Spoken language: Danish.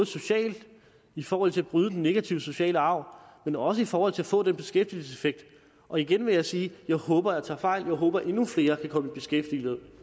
socialt i forhold til at bryde den negative sociale arv men også i forhold til at få den beskæftigelseseffekt og igen vil jeg sige at jeg håber at jeg tager fejl jeg håber at endnu flere kan komme i beskæftigelse